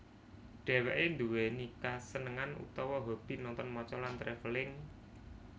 Dhèwèké nduwèni kasenengan utawa hobi nonton maca lan travelling